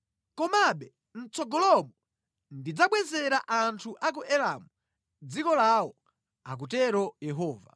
“Komabe mʼtsogolomo ndidzabwezera anthu a ku Elamu dziko lawo,” akutero Yehova.